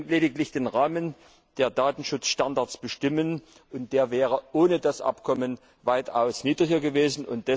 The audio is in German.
Wir können lediglich den Rahmen der Datenschutzstandards bestimmen, und der wäre ohne das Abkommen weitaus niedriger gewesen.